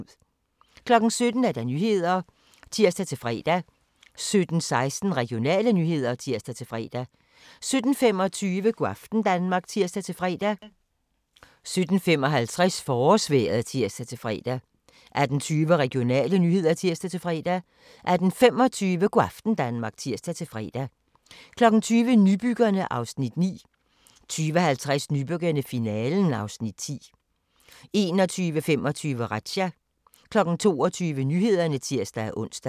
17:00: Nyhederne (tir-fre) 17:16: Regionale nyheder (tir-fre) 17:25: Go' aften Danmark (tir-fre) 17:55: Forårsvejret (tir-fre) 18:20: Regionale nyheder (tir-fre) 18:25: Go' aften Danmark (tir-fre) 20:00: Nybyggerne (Afs. 9) 20:50: Nybyggerne - finalen (Afs. 10) 21:25: Razzia 22:00: Nyhederne (tir-ons)